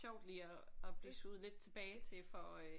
Sjovt lige at at blive suget lidt tilbage til for øh